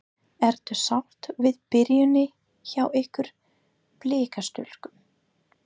Ertu sátt við byrjunina hjá ykkur Blikastúlkum?